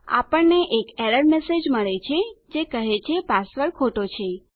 આપણને એક error message મળે છે જે કહે છે કે પાસવર્ડ ખોટો છે